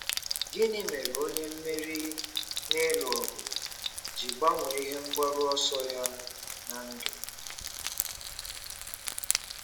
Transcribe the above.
Gịnị mere onye mmeri n'ịlụ ọgụ ji gbanwee ihe mgbaru ọsọ ya ná ndụ?